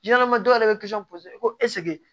dɔw yɛrɛ bɛ ko